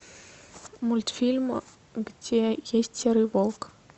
мультфильм где есть серый волк